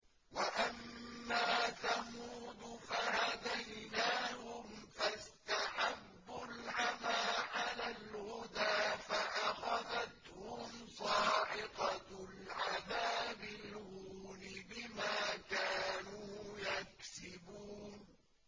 وَأَمَّا ثَمُودُ فَهَدَيْنَاهُمْ فَاسْتَحَبُّوا الْعَمَىٰ عَلَى الْهُدَىٰ فَأَخَذَتْهُمْ صَاعِقَةُ الْعَذَابِ الْهُونِ بِمَا كَانُوا يَكْسِبُونَ